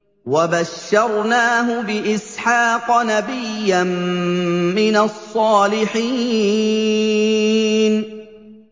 وَبَشَّرْنَاهُ بِإِسْحَاقَ نَبِيًّا مِّنَ الصَّالِحِينَ